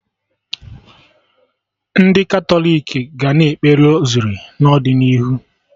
Ndị Katọlik ga na-ekpe Rosari n'ọdịnihu